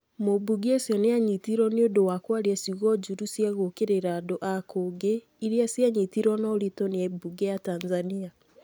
Mumbunge ũcio nĩ aanyitirwo nĩ ũndũ wa kwaria ciugo njũru cia gũũkĩrĩra andũ a kũngĩ, iria cianyitirũo na ũritũ nĩ mbunge ya Tanzania